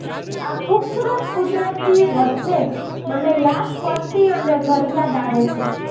આ ખૂબસૂરત કુદરતની વચ્ચે મને પત્ની અને ઘર યાદ આવે છે